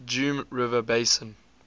geum river basin